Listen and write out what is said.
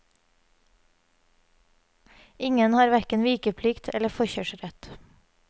Ingen har hverken vikeplikt eller forkjørsrett.